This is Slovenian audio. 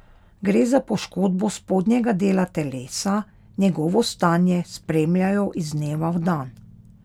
Gre za poškodbo spodnjega dela telesa, njegovo stanje spremljajo iz dneva v dan.